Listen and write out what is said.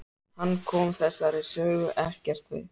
Hann kom þessari sögu ekkert við.